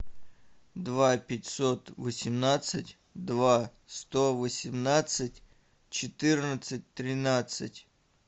два пятьсот восемнадцать два сто восемнадцать четырнадцать тринадцать